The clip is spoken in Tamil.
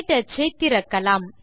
க்டச் ஐ திறக்கலாம்